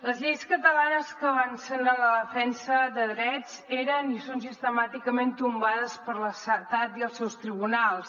les lleis catalanes que avancen en la defensa de drets eren i són sistemàticament tombades per l’estat i els seus tribunals